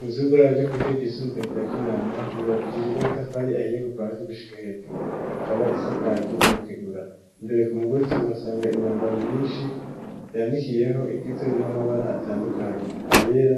inzu y'uburaro ryo ku ishure ry'isumbuye rya kinama yubakishije n'amatafari ahiye kuva hasi gushika hejuru, ikaba isakaje n'amategura, imbere ku mugozi uhasanga imyambaro myinshi yandikiyeho igizwe n'amabara atandukanye ayera,